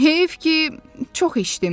Heyif ki, çox içdim.